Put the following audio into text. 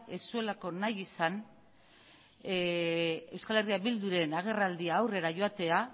ez zuelako nahi izan euskal herria bilduren agerraldia aurrera joatea